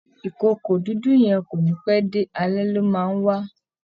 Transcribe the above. ìkookò dúdú yẹn kò ní pẹ́ dé, alẹ ló máa ń wá